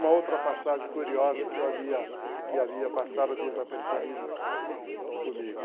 Uma outra passagem curiosa que eu havia havia passado desapercebido comigo.